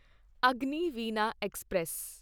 Agniveena express